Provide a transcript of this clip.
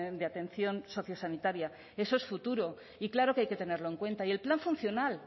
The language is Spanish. de atención sociosanitaria eso es futuro y claro que hay que tenerlo en cuenta y el plan funcional